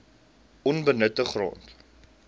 onbenutte grond